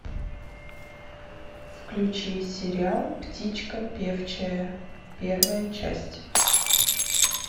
включи сериал птичка певчая первая часть